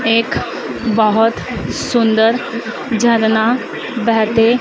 एक बहोत सुंदर झरना बहते--